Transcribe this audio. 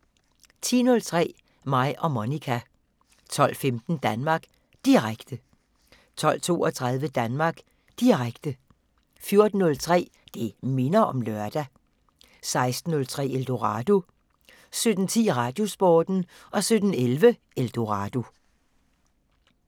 10:03: Mig og Monica 12:15: Danmark Direkte 12:32: Danmark Direkte 14:03: Det minder om lørdag 16:03: Eldorado 17:10: Radiosporten 17:11: Eldorado